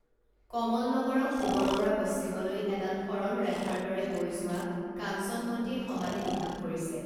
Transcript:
কমল নগৰক পূবৰপৰা পশ্চিমলৈ এডাল সৰলৰেখাৰ দৰে বৈ যোৱা কাঞ্চনমতীয়ে সমানে দুভাগ কৰিছে